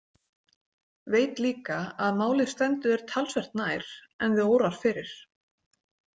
Veit líka að málið stendur þér talsvert nær en þig órar fyrir.